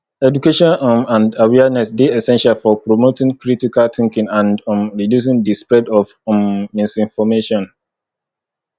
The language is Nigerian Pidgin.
education um and awareness dey essential for promoting critical thinking and um reducing di spread of um misinformation